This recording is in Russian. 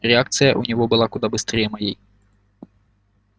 реакция у него была куда быстрее моей